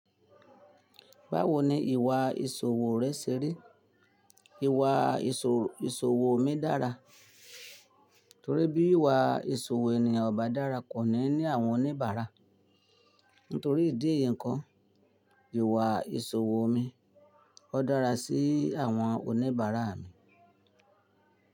Báwo ni ìwà ìṣòwò rẹ ṣe ri? Ìwà ìṣòwò mi dára, torí bí ìwà ìṣòwò ènìyàn ò bá dára kò ní ní àwọn oníbàárà. Nítorí ìdí èyí kan, ìwà ìṣòwò mi ó dára sí àwọn oníbàárà mi.